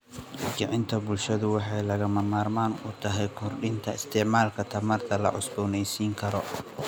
Kicinta bulshada waxay lagama maarmaan u tahay kordhinta isticmaalka tamarta la cusboonaysiin karo.